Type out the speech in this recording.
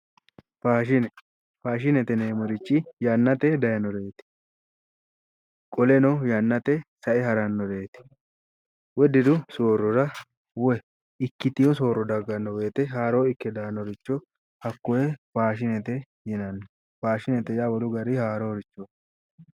Fashine faashinete yineemmoti yannate daayiinoreeti. qoleno yannate sae harannoreeti. woyi diru soorrora woyi ikkitewo soorro dagganno woyiite haaroo ikke daannoricho hakoye fashinete yinnanni. faashinete yaa wolu garinni haaroorichooti.